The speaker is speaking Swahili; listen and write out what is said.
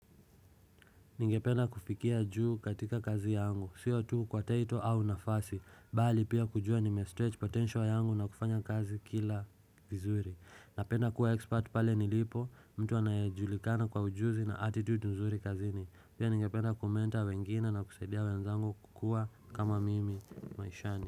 Ningependa kufikia juu katika kazi yangu, sio tuu kwa taito au nafasi, bali pia kujua ni me-stretch potential yangu na kufanya kazi kila vizuri Napenda kuwa expert pale nilipo, mtu anajulikana kwa ujuzi na attitude nzuri kazini Pia ningependa kumenta wengine na kusaidia wenzangu kukua kama mimi maishani.